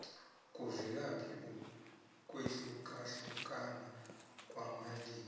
kuvelaphi ukwehlukahlukana kwamalimi